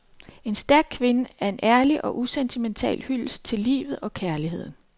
En stærk kvinde er en ærlig og usentimental hyldest til livet og kærligheden.